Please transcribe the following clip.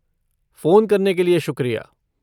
Phone करने के लिये शुक्रिया।